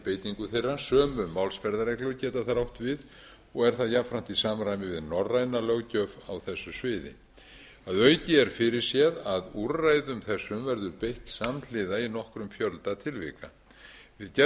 beitingu þeirra sömu málsmeðferðarreglur geta þar átt við og er það jafnframt í samræmi við norræna löggjöf á þessu sviði að auki er fyrirséð að úrræðum þessum verður beitt samhliða í nokkrum fjölda tilvika við gerð